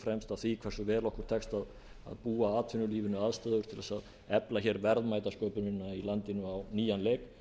fremst af því hversu vel okkur tekst að búa atvinnulífinu aðstöðu til að efla verðmætasköpunina í landinu á nýjan leik